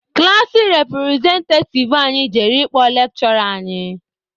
Klaasị repụrezentativ anyị jere ịkpọ lekshụra anyị.